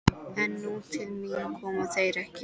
En til mín komu þeir ekki.